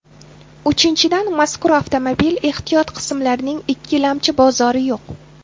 Uchinchidan, mazkur avtomobil ehtiyot qismlarining ikkilamchi bozori yo‘q.